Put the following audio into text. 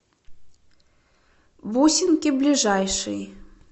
бусинки ближайший